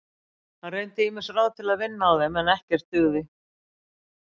Hann reyndi ýmis ráð til að vinna á þeim en ekkert dugði.